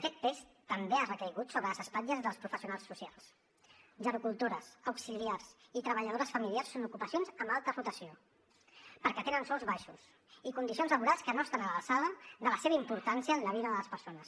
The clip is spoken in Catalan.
aquest pes també ha recaigut sobre les espatlles dels professionals socials gerocultores auxiliars i treballadores familiars són ocupacions amb alta rotació perquè tenen sous baixos i condicions laborals que no estan a l’alçada de la seva importància en la vida de les persones